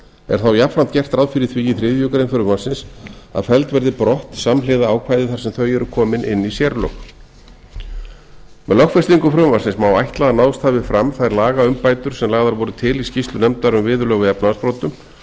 er þá jafnframt gert ráð fyrir því í þriðju greinar frumvarpsins að felld verði brott samhljóða ákvæði þar sem þau eru komin inn í sérlög með lögfestingu frumvarpsins má ætla að náðst hafi fram þær lagaumbætur sem lagðar voru til í skýrslu nefndar um viðurlög við efnahagsbrotum